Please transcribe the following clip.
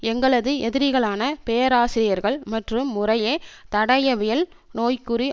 எங்களது எதிரிகளான பேராசிரியர்கள் மற்றும் முறையே தடயவியல் நோய்க்குறி